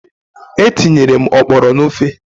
Etinyere m oporo n'ofe.